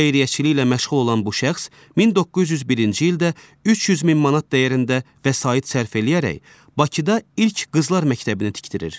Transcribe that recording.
Xeyriyyəçiliklə məşğul olan bu şəxs 1901-ci ildə 300 min manat dəyərində vəsait sərf eləyərək Bakıda ilk qızlar məktəbini tikdirir.